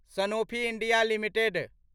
Sanofi India limited